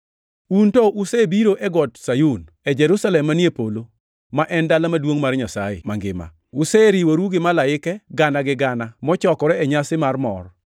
Un to usebiro e Got Sayun, e Jerusalem manie polo, ma en dala maduongʼ mar Nyasaye mangima. Useriworu gi malaike gana gi gana mochokore e nyasi mar mor